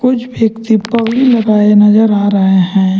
कुछ व्यक्ति पगड़ी लगाये नजर आ रहे हैं।